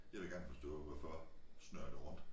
Jeg vil gerne forstå hvorfor snurrer det rundt